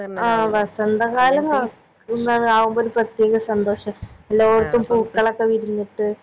ആ വസന്ത കാലം കൊഴ എന്താണ് ആവുമ്പൊ ഒരു പ്രേതെക സന്തോഷ എല്ലോട്ത്തും പൂക്കളൊക്കെ വിരിഞ്ഞിട്ട്